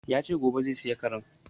Yace gobe zai saya karen